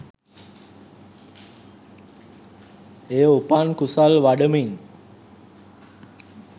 එය උපන් කුසල් වඩමින්